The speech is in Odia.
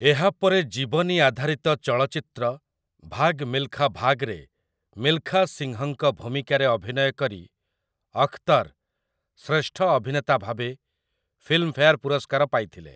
ଏହାପରେ ଜୀବନୀ ଆଧାରିତ ଚଳଚ୍ଚିତ୍ର 'ଭାଗ୍ ମିଲ୍‌ଖା ଭାଗ୍'ରେ ମିଲ୍‌ଖା ସିଂହଙ୍କ ଭୂମିକାରେ ଅଭିନୟ କରି ଅଖ୍‌ତର୍ ଶ୍ରେଷ୍ଠ ଅଭିନେତା ଭାବେ ଫିଲ୍ମଫେୟାର୍ ପୁରସ୍କାର ପାଇଥିଲେ ।